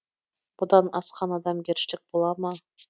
бұдан асқан адамгершілік бола ма